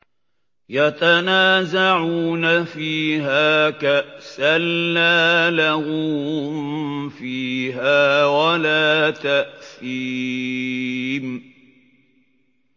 يَتَنَازَعُونَ فِيهَا كَأْسًا لَّا لَغْوٌ فِيهَا وَلَا تَأْثِيمٌ